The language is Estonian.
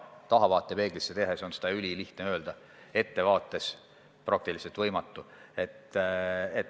Tahavaatepeegli abil on seda ülilihtne öelda, ette vaatavalt aga praktiliselt võimatu.